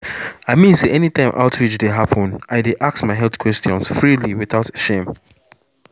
i mean say anytime outreach dey happen i dey ask my health questions freely without shame